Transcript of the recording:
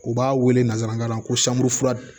U b'a wele nanzarakan na ko sanburu fura